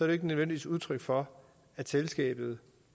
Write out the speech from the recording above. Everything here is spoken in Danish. jo ikke nødvendigvis udtryk for at selskabet